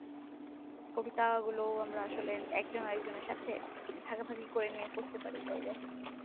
কবিতা গুলো আমরা একজন আরেকজনের সাথে ভাগাভাগি করে নিয়ে পড়তে পারি চাইলে